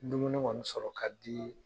Dumuni kɔni sɔrɔ ka di